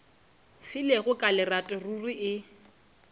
filego ka lerato ruri e